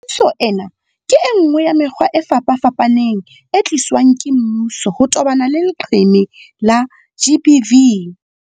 Thuso ena ke enngwe ya mekgwa e fapafapaneng e tliswang ke mmuso ho tobana le leqeme la GBV.